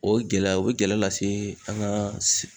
O gɛlɛya o be gɛlɛya lase an ka